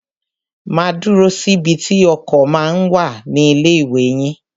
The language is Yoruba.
Máa dúró síbi tí ọkọ̀ ma ń wà ní ilé ìwé yín.